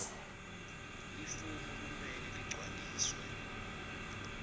lifomu kumele ligcwaliswe